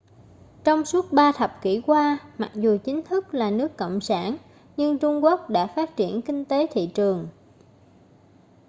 trong suốt ba thập kỷ qua mặc dù chính thức là nước cộng sản nhưng trung quốc đã phát triển kinh tế thị trường